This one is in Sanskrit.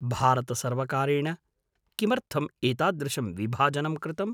भारतसर्वकारेण किमर्थम् एतादृशं विभाजनं कृतम्?